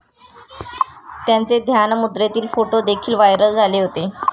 त्यांचे ध्यानमुद्रेतील फोटो देखील व्हायरल झाले होते.